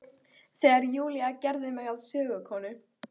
Þegar Júlía gerði mig að sögukonu.